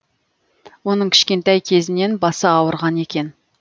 оның кішкентай кезінен басы ауырған екен